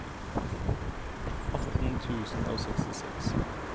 atten tusen og sekstiseks